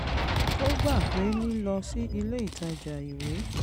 ó gbà pé lílọ sí ilé ìtajà ìwé